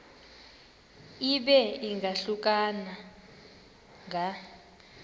ibe ingahluka nanga